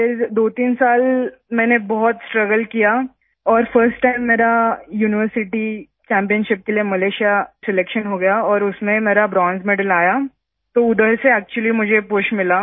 फिर 23 साल मैंने बहुत स्ट्रगल किया और फर्स्ट टाइम मेरा यूनिवर्सिटी चैम्पियनशिप के लिए मलेशिया सिलेक्शन हो गया और उसमें मेरा ब्रोंज मेडल आया तो उधर से एक्चुअली मुझे पुश मिला